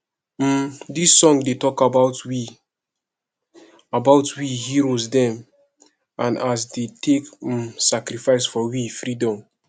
um dis song dey tok about we about we heros dem and as dey take um sacrifice for we freedom